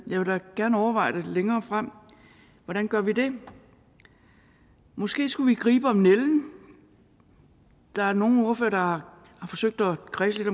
vil da gerne overveje det længere frem hvordan gør vi det måske skulle vi gribe om nælden der er nogle ordførere der har forsøgt at kredse lidt